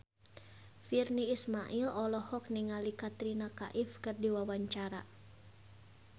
Virnie Ismail olohok ningali Katrina Kaif keur diwawancara